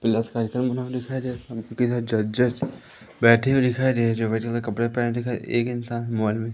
plus कार्यक्रम का नाम दिखाई दे जजेस बैठे हुए दिखाई दे रहे जो व्हाइट कलर के कपड़े पहने एक इंसान मोबाइल में--